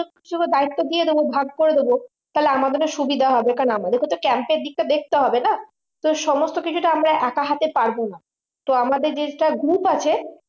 দায়িত্ব দিয়ে দেব ভাগ করে দেব তাহলে আমাদের সুবিধা হবে কারণ আমাদেরকেও তো camp এর দিকটা দেখতে হবে তাই না তো সমস্ত কিছুটা আমরা একা হাতে পারবো না তো আমাদের যেটা group আছে